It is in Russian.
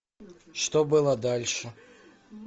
что было дальше